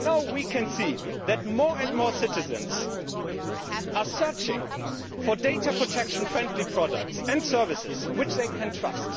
We can now see that more and more citizens are searching for data protection friendly products and services that they can trust.